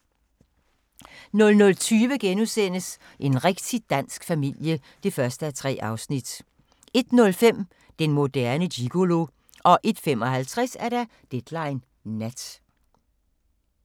00:20: En rigtig dansk familie (1:3)* 01:05: Den moderne gigolo 01:55: Deadline Nat